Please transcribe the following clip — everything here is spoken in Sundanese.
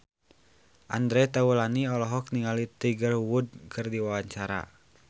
Andre Taulany olohok ningali Tiger Wood keur diwawancara